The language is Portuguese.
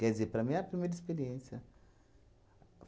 Quer dizer, para mim é a primeira experiência.